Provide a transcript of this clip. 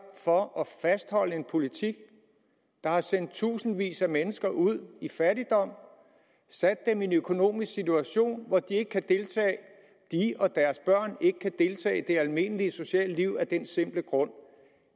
for at fastholde en politik der har sendt tusindvis af mennesker ud i fattigdom sat dem i en økonomisk situation at de og deres børn ikke kan deltage i det almindelige sociale liv af den simple grund